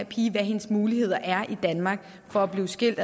pigen hvad hendes muligheder er i danmark for at blive skilt